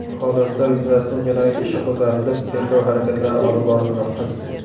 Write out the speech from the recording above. Holatlar yuzasidan jinoyat ishi qo‘zg‘atilib, tergov harakatlari olib borilmoqda.